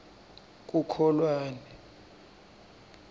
kukholwane